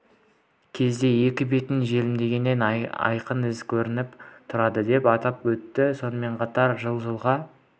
кезде екі бетін желімдегеннен айқын із көрініп тұрады деп атап өтті сонымен қатар жылы жылғы